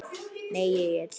Nei Egill.